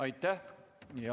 Aitäh!